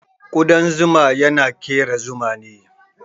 Kudan zuma yana kera Zuma ne.